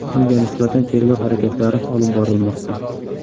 Unga nisbatan tergov harakatlari olib borilmoqda.